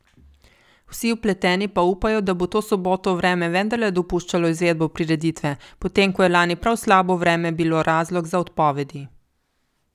Vsi vpleteni pa upajo, da bo to soboto vreme vendarle dopuščalo izvedbo prireditve, potem ko je lani prav slabo vreme bilo razlog za odpovedi.